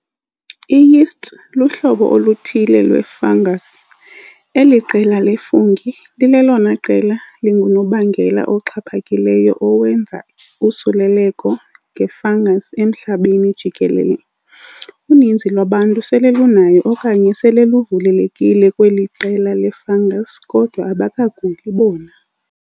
I-Yeasts luhlobo oluthile lwe- fungus. eli qela le-fungi lilelona qela lingunobangela oxhaphakileyo owenza iusuleleko nge-fungus emhlabeni jikelele. Uninzi lwabantu sele lunayo okanye sele luvulelekile kweli qela le-fungus kodwa abakaguli bona.